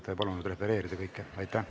Ta ei palunud kõike refereerida.